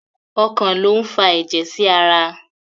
Ọkàn lo n fà ẹjẹ sí ará